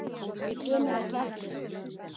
Hann kemur ekki aftur.